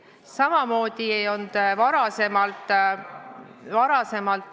Samuti ei olnud varasemalt ...